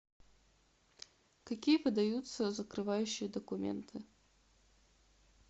какие подаются закрывающие документы